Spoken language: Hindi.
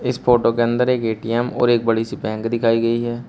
इस फोटो के अंदर एक ए_टी_एम और एक बड़ी सी बैंक दिखाई गई है।